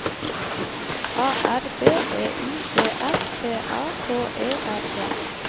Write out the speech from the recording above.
A R B E I D S T A K E R E